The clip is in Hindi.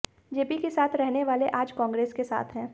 जेपी के साथ रहने वाले आज कांग्रेस के साथ हैं